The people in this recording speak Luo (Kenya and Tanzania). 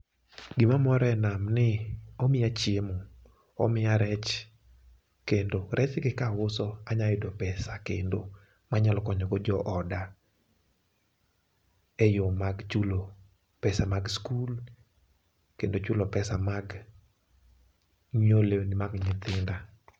Gima mora e nam ni omiya chiemo, omiya reche kendo rech gi kauso kendo anyalo yudo pesa kendo manyalo konyo go jooda e yoo mag chulo pesa mag skul kendo chulo pesa mag nyiewo lewni mag nyithinda.